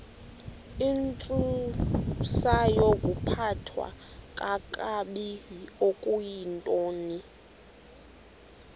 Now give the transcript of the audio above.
intsusayokuphathwa kakabi okuyintoni